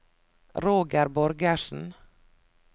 Roger Borgersen